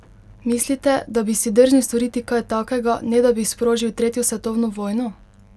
Mislite, da bi si drznil storiti kaj takega, ne da bi sprožil tretjo svetovno vojno?